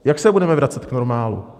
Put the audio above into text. Jak se budeme vracet k normálu?